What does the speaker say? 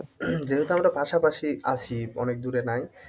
যেহেতু আমরা পাশাপাশি আছি অনেক দূরে নাই,